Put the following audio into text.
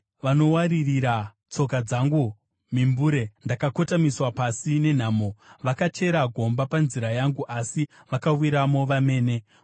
Vanowaririra tsoka dzangu mimbure, ndakakotamiswa pasi nenhamo. Vakachera gomba panzira yangu, asi vakawiramo vamene. Sera